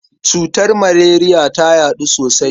Cutar maleriya ta yaɗu sosai.